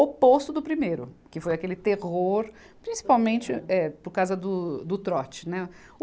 Oposto do primeiro, que foi aquele terror, principalmente eh por causa do, do trote, né.